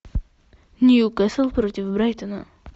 ньюкасл против брайтона